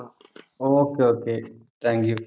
okay, okay thank U